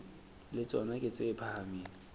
le tsona ke tse phahameng